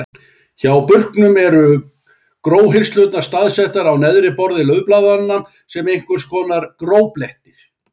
Hjá burknum eru gróhirslurnar staðsettar á neðra borði laufblaðanna sem einhvers konar gróblettir.